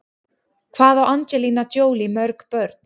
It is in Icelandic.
Hvað á Angelina Jolie mörg börn?